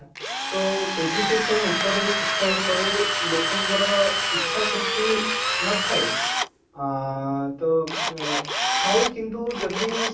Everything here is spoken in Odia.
ତ education ଉପରେ ଶିକ୍ଷା ଉପରେ ଲୋକ ଙ୍କର ଇଚ୍ଛା ଶକ୍ତି ନଥାଏ ଆଁ ତ ଥାଏ କିନ୍ତୁ ଯଦି